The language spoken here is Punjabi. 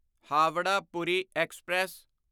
ਹਾਵਰਾ ਪੂਰੀ ਐਕਸਪ੍ਰੈਸ